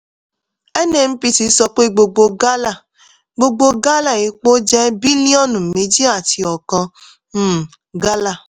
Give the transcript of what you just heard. nnpc sọ pé gbogbo gálà gbogbo gálà epo jẹ́ bílíọ̀nù méjì àti ọkan um gálà.